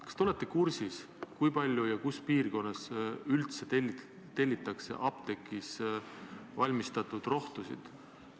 Kas te olete kursis, kui palju ja kus piirkonnas üldse tellitakse apteegis valmistatud rohtusid?